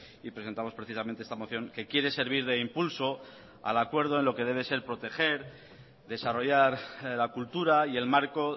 y presentamos precisamente esta moción que quiere servir de impulso al acuerdo en lo que debe ser proteger desarrollar la cultura y el marco